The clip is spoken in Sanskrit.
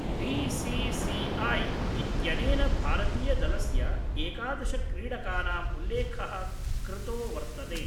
बीसीसीआई इत्यनेन भारतीयदलस्य एकादशक्रीडकानां उल्लेख: कृतो वर्तने।